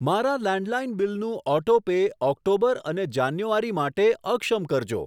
મારા લેન્ડલાઈન બીલનું auto pay October અને જાન્યુઆરી માટે અક્ષમ કરજો.